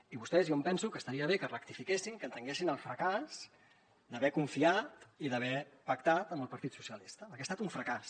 i vostès jo em penso que estaria bé que rectifiquessin que entenguessin el fracàs d’haver confiat i d’haver pactat amb el partit socialista perquè ha estat un fracàs